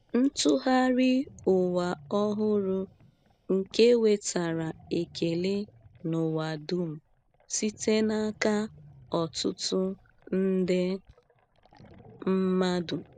Ntụgharị Ụwa Ọhụrụ nke nwetara ekele n’ụwa dum site n’aka ọtụtụ nde mmadụ